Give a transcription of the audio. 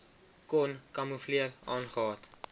kon kamoefleer aangehad